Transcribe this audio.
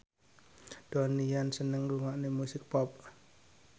Donnie Yan seneng ngrungokne musik pop